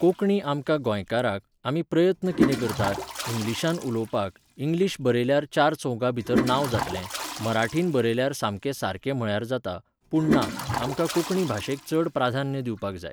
कोंकणी आमकां गोंयकाराक, आमी प्रयत्न किदें करतात, इंग्लिशान उलोवपाक, इंग्लीश बरयल्यार चारचौगांभितर नांव जातलें, मराठीन बरयल्यार सामकें सारकें म्हळ्यार जाता, पूण ना, आमकां कोंकणी भाशेक चड प्राधान्य दिवपाक जाय.